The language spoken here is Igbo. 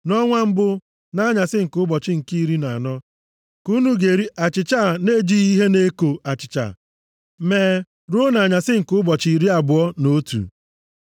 Nʼọnwa mbụ, nʼanyasị nke ụbọchị nke iri na anọ, ka unu ga-eri achịcha a na-ejighị ihe na-eko achịcha mee ruo nʼanyasị nke ụbọchị iri abụọ na otu.